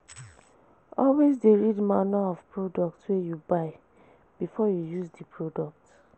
Always de read manual of products wey you buy before you use di product